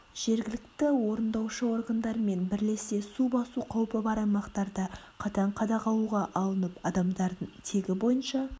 жергілікті орындаушы органдармен бірлесе су басу қаупі бар аймақтарда қатаң қадағалуға алынып адамдардың тегі бойынша